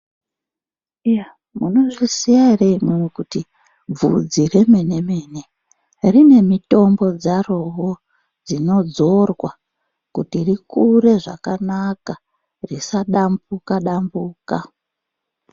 Iya munozviziya ere imwimwi kuti bvudzi remene mene, rine mitombo dzarowo dzinodzorwa kuti rikure zvakanaka risadambuka-dambuka.